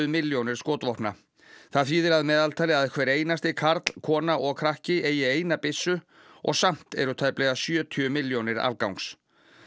milljónir skotvopna það þýðir að meðaltali að hver einasti karl kona og krakki eigi eina byssu og samt eru tæplega sjötíu milljónir afgangs